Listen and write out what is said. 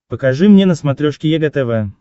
покажи мне на смотрешке егэ тв